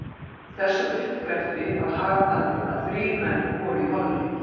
Þessum uppgreftri var hagað þannig, að þrír menn voru í holli